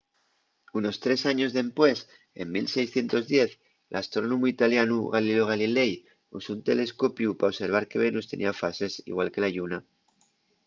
unos tres años dempués en 1610 l’astrónomu italianu galileo galilei usó un telescopiu pa observar que venus tenía fases igual que la lluna